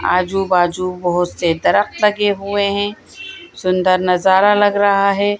आजू बाजू बहुत से दरखत लगे हुए हैं सुंदर नजारा लग रहा है।